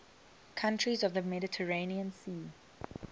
countries of the mediterranean sea